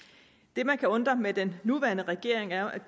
det man kan undre med den nuværende regering er